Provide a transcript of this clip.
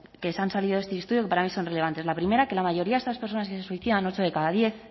que se han salido de este estudio que para mí son relevantes la primera que la mayoría de esas personas que se suicidan ocho de cada diez